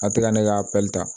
A tɛ ka ne ka ta